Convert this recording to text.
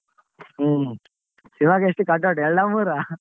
ಹ್ಮ್ ಇವಾಗ್ ಎಷ್ಟ್ cut out ಎಲ್ಡ ಮೂರ?